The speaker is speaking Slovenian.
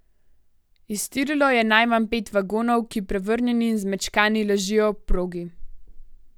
Iztirilo je najmanj pet vagonov, ki prevrnjeni in zmečkani ležijo ob progi.